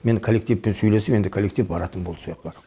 мені коллективпен сөйлесіп енді коллектив баратын болды сояққа